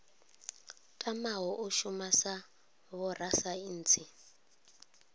tamaho u shuma sa vhorasaintsi